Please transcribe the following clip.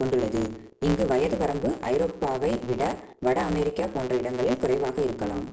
கொண்டுள்ளது அங்கு வயது வரம்பு ஐரோப்பாவை விட வட அமெரிக்கா போன்ற இடங்களில் குறைவாக இருக்கலாம்